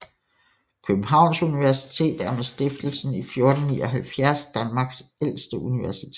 Københavns Universitet er med stiftelsen i 1479 Danmarks ældste universitet